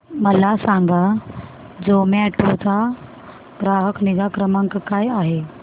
मला सांगा झोमॅटो चा ग्राहक निगा क्रमांक काय आहे